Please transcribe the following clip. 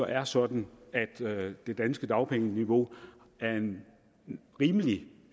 er sådan at det danske dagpengeniveau er en rimelig